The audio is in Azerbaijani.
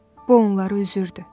Bu onları üzürdü.